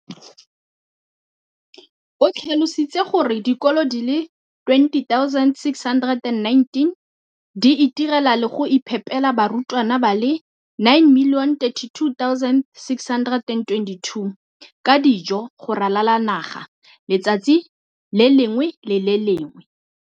O tlhalositse gore dikolo di le 20 619 di itirela le go iphepela barutwana ba le 9 032 622 ka dijo go ralala naga letsatsi le lengwe le le lengwe.